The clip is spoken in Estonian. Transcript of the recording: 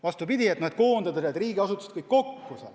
Peetakse õigeks koondada riigiasutused kõik kokku.